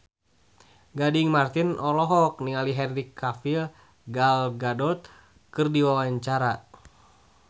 Gading Marten olohok ningali Henry Cavill Gal Gadot keur diwawancara